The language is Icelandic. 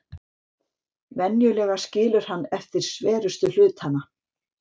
Venjulega skilur hann eftir sverustu hlutana.